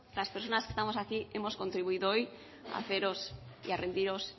las personas que estamos aquí hemos contribuido hoy a haceros y a rendiros